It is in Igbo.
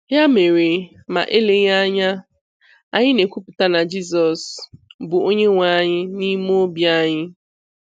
Ya mere, ma eleghị anya, anyị na-ekwupụta na Jizọs bụ Onyenweanyị n'ime obi anyị.